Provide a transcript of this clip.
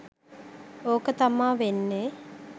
ඕක තමා වෙන්නේ